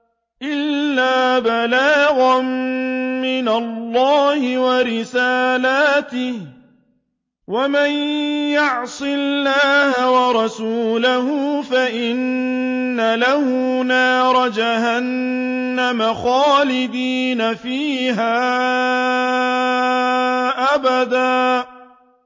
إِلَّا بَلَاغًا مِّنَ اللَّهِ وَرِسَالَاتِهِ ۚ وَمَن يَعْصِ اللَّهَ وَرَسُولَهُ فَإِنَّ لَهُ نَارَ جَهَنَّمَ خَالِدِينَ فِيهَا أَبَدًا